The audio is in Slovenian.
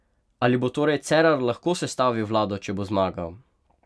Ali bo torej Cerar lahko sestavil vlado, če bo zmagal?